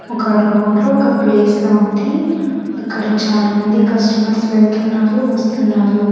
ఒక రోడ్డు ఒక ప్లేస్ లా ఉంది అక్కడ చానామంది కస్టమర్స్ వెళ్తున్నారు వస్తున్నారు.